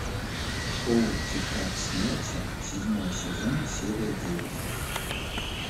шоу тетрадь смерти седьмой сезон серия девять